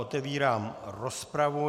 Otevírám rozpravu.